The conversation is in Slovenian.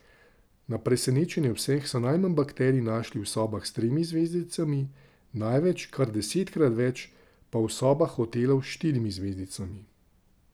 Na presenečenje vseh so najmanj bakterij našli v sobah s tremi zvezdicami, največ, kar desetkrat več, pa v sobah hotelov s štirimi zvezdicami.